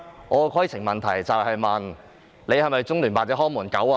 我的規程問題就是：你是否中聯辦的"看門狗"？